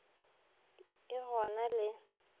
t e go na le